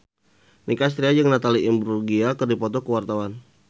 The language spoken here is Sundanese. Nicky Astria jeung Natalie Imbruglia keur dipoto ku wartawan